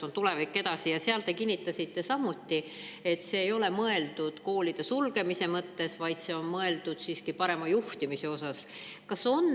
Ka kinnitasite, et seda ei koolide sulgemise, vaid parema juhtimise.